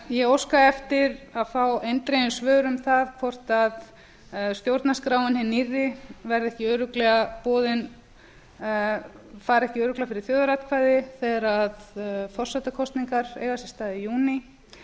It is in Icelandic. ég óska eftir að fá eindregin svör um það hvort stjórnarskráin hin nýrri verði ekki örugglega boðin fari ekki örugglega fyrir þjóðaratkvæði þegar forsetakosningar eiga sér stað í